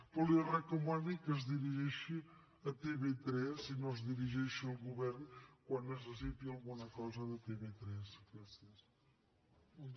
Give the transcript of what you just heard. però li recomano que es dirigeixi a tv3 i no es dirigeixi al govern quan necessiti alguna cosa de tv3